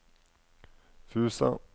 Fusa